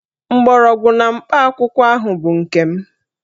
Mgbọrọgwụ na mkpa akwụkwọ ahụ bụ nke m